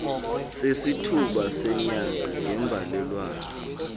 sesithuba senyanga ngembalelwano